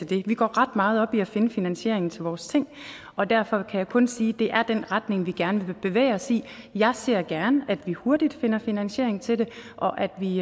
det vi går ret meget op i at finde finansiering til vores ting og derfor kan jeg kun sige at det er den retning vi gerne vil bevæge os i jeg ser gerne at vi hurtigt finder finansiering til det og at vi